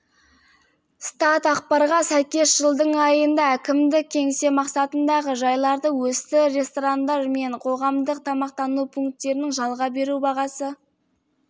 статақпарға сәйкес жылдың айында әкімдік-кеңсе мақсатындағы жайларды өсті ресторандар мен қоғамдық тамақтану пункттерін жалға беру бағасы